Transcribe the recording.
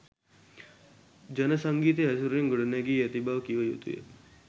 ජන සංගීතය ඇසුරින් ගොඩනැගී ඇති බව කිව යුතුය.